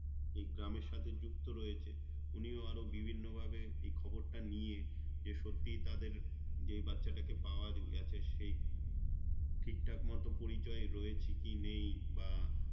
এই গ্রামের সাথে যুক্ত রয়েছে উনিও আরও বিভিন্ন ভাবে এই খবর তা নিয়ে যে সত্যিই তাদের যেই বাচ্চাটাকে পাওয়া গেছে সেই ঠিকটাক মতো পরিচয় রয়েছে কি নেই বা